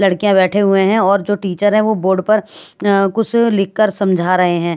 लड़कियाँ बैठे हुए हैं और जो टीचर है वो बोर्ड पर कुछ लिखकर समझा रहे हैं ।